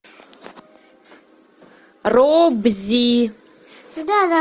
робзи